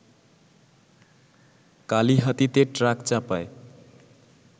কালিহাতীতে ট্রাকচাপায়